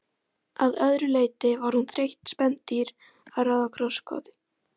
Að öðru leyti var hún þreytt spendýr að ráða krossgátu.